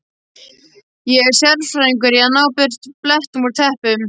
Ég er sérfræðingur í að ná burtu blettum úr teppum.